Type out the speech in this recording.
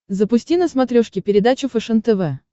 запусти на смотрешке передачу фэшен тв